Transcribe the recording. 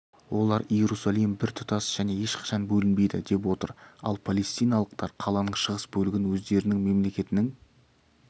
олар иерусалим біртұтас және ешқашан бөлінбейді деп отыр ал палестиналықтар қаланың шығыс бөлігін өздерінің мемлекетінің